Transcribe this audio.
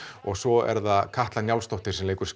og svo er það Katla Njálsdóttir sem leikur